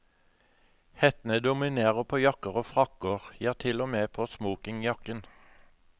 Hettene dominerer på jakker og frakker, ja til og med på smokingjakken.